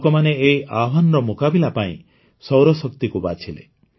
ଲୋକମାନେ ଏହି ଆହ୍ୱାନର ମୁକାବିଲା ପାଇଁ ସୌରଶକ୍ତିକୁ ବାଛିଲେ